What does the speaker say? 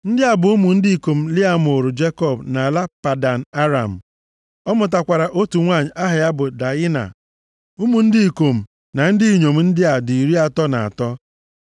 Ndị a bụ ụmụ ndị ikom Lịa mụụrụ Jekọb nʼala Padan Aram. Ọ mụtakwara otu nwanyị aha ya bụ Daịna. Ụmụ ndị ikom na ndị inyom ndị a dị iri atọ na atọ.